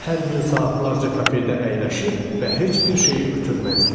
Hər gün saatlarca kafedə əyləşir və heç bir şeyi ötürməzdik.